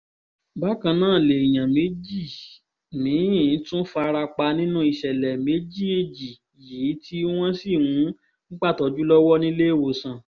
bákan náà lèèyàn méjì mí-ín tún fara pa nínú ìṣẹ̀lẹ̀ méji-èjì yìí tí wọ́n sì ń gbàtọ́jú lọ́wọ́ níléèwọ̀sán